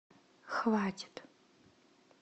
хватит